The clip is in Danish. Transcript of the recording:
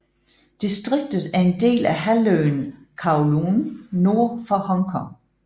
Distriktet er en del af halvøen Kowloon nord for Hongkong